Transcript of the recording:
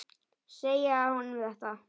Segja honum þetta?